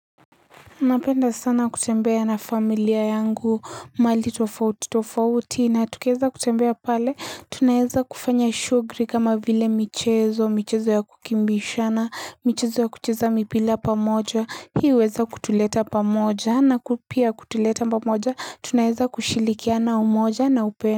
Napenda sana kutembea na familia yangu mahali tofauti tofauti na tukieza kutembea pale tunaweza kufanya shughuli kama vile michezo michezo ya kukimbizana michezo ya kucheza mipira pamoja hii huweza kutuleta pamoja na pia kutuleta pamoja tunaweza kushirikiana umoja na upendo.